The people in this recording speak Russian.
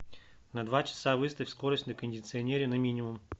на два часа выставь скорость на кондиционере на минимум